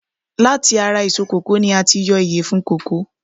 Láti ara èso kòkó ni a tí yọ ìyèfun kòkó